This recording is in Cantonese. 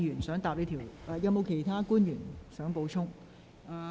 是否有其他官員作補充？